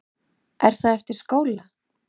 Er það eftir skóla?